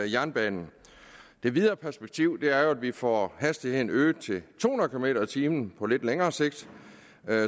jernbanen det videre perspektiv er jo at vi får hastigheden øget til to hundrede kilometer per time på lidt længere sigt